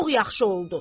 Çox yaxşı oldu.